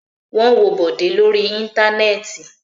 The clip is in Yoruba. Wọ́n wọ́ Bọ̀dé lórí Íńtánẹ́ẹ̀tì.